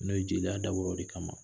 N'o ye jeliya dabɔra wɔrɔ de kama ma